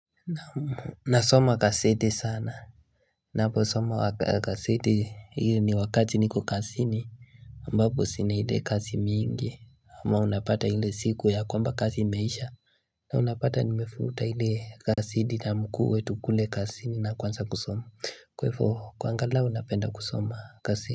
Nasoma gazeti sana Naposoma gazeti hili ni wakati niko kasini ambapo sina hile kasi mingi ama unapata hile siku ya kwamba kasi imeisha na unapata nimefuta ile kasidi na mkuwe tukule kasini na kuanza kusoma kwaivo kwanga lao unapenda kusoma kasidi.